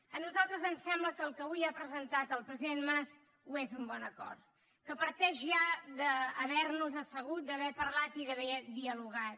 a nosaltres ens sembla que el que avui ha presentat el president mas ho és un bon acord que parteix ja d’haver nos assegut d’haver parlat i d’haver dialogat